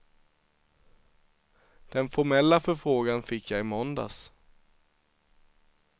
Den formella förfrågan fick jag i måndags.